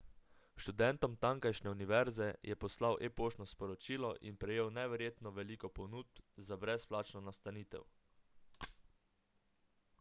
študentom tamkajšnje univerze je poslal e-poštno sporočilo in prejel neverjetno veliko ponudb za brezplačno nastanitev